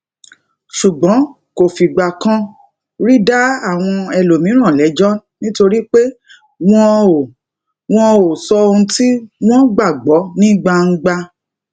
ṣùgbọn kò fìgbà kan rí dá àwọn ẹlòmíràn léjó nítorí pé wọn ò wọn ò sọ ohun tí wón gbàgbó ní gbangba